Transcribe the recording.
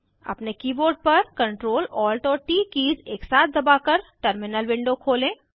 अपने कीबोर्ड पर Ctrl Alt और ट कीज़ एकसाथ दबाकर टर्मिनल विंडो खोलें